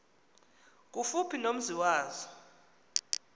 kufuphi nomzi wazo